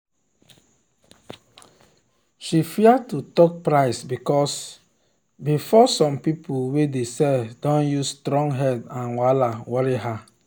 she fear to talk price because before some people way dey sell don use strong head and wahala worry her.